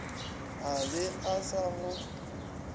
a be a sa go